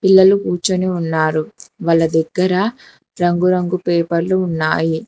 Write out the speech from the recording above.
పిల్లలు కూర్చొని ఉన్నారు వాళ్ళ దగ్గర రంగురంగు పేపర్లు ఉన్నాయి.